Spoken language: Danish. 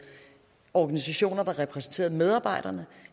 organisationer der repræsenterede medarbejderne